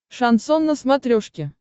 шансон на смотрешке